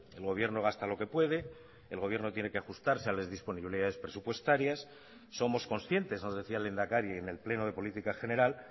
el gobierno gasta lo que puede el gobierno tiene que ajustarse a las disponibilidades presupuestarias somos conscientes nos decía el lehendakari en el pleno de política general